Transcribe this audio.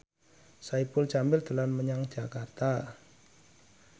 Saipul Jamil dolan menyang Jakarta